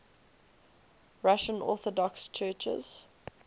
russian orthodox churches